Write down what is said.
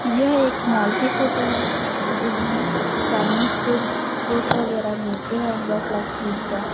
यह एक मॉल की फोटो है जिसमें चाइनीस फूड फूड वगैरह मिलते हैं जस्ट लाइक पिज़्ज़ा ।